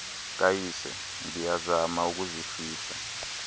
kayise ndiyazama ukuzifihla